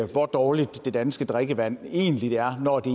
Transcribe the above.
hvor dårligt det danske drikkevand egentlig er når det